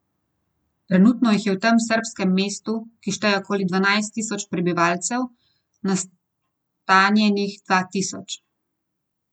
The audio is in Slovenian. Trenutno jih je v tem srbskem mestu, ki šteje okoli dvanajst tisoč prebivalcev, nastanjenih dva tisoč.